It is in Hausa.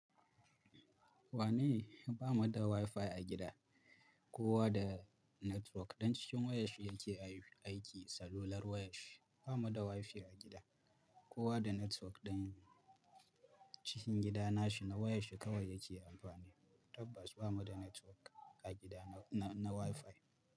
Wane? Ba mu da WiFi a gida. Kowa da network ɗin cikin wayar shi yake aiki. Salular wayar shi. Ba mu da WiFi a gida. Kowa da network ɗin cikin gidana shi na wayar shi kawai yake amfani. Tabbas ba mu da network a gida na, na WiFi.